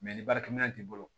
ni baarakɛminɛn t'i bolo